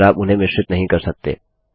और आप उन्हें मिश्रित नहीं कर सकते